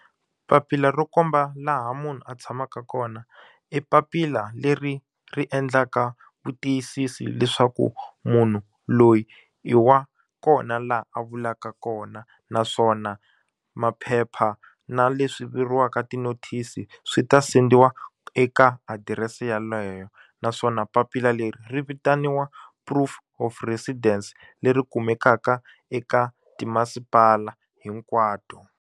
Papila ro komba laha munhu a tshamaka kona i papila leri ri endlaka vu tiyisisi leswaku munhu loyi i wa kona laha a vulaka kona naswona maphepha na leswi vuriwaka ti-notice swi ta sendiwa eka adirese yeleyo naswona papila leri ri vitaniwa Proof of residence leri kumekaka eka timasipala hinkwato.